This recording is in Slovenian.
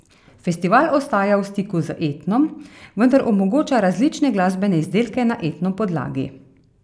Festival ostaja v stiku z etnom, vendar omogoča različne glasbene izdelke na etno podlagi.